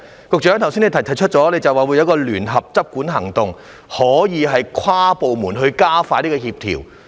局長剛才提出會有聯合執管行動，可以跨部門加快協調。